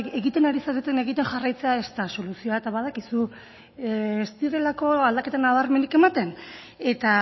egiten ari zaretena egiten jarraitzea ez da soluzioa eta badakizu ez direlako aldaketa nabarmenik ematen eta